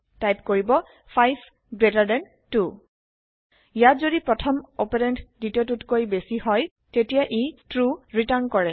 type কৰিব 5 GT 2 ইয়াত যদি প্ৰথম অপাৰেন্দ দ্বিতীয়টোতকৈ বেছি হয় তেতিয়া ই ট্ৰু ৰিটাৰ্ণ কৰে